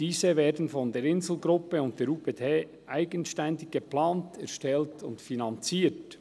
Diese werden von der Insel Gruppe und der UPD eigenständig geplant, erstellt und finanziert.